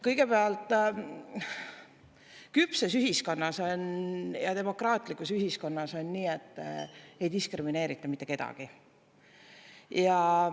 Kõigepealt, küpses ühiskonnas, demokraatlikus ühiskonnas on nii, et ei diskrimineerita mitte kedagi.